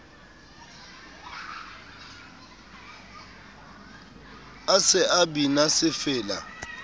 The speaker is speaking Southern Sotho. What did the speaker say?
a se a bina sefela